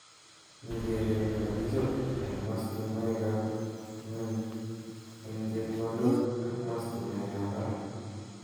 Mi keret ne kakichop eng mastunwek ap nyung ing chepkondok ak mastunwek ap parak.